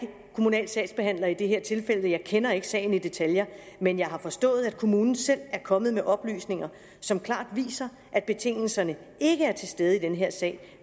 kommunal sagsbehandler i det her tilfælde og jeg kender ikke sagen i detaljer men jeg har forstået at kommunen selv er kommet med oplysninger som klart viser at betingelserne ikke er til stede i den her sag